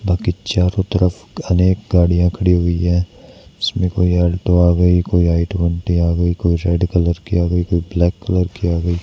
बाकी चारों तरफ घनेक गाड़ियां खड़ी हुई हैं इसमें कोई अल्टो आ गई कोई आई ट्वेंटी आ गई कोई रेड कलर की आ गई कोई ब्लैक कलर की आ गई।